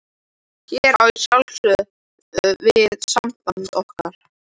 Hér á ég að sjálfsögðu við samband okkar.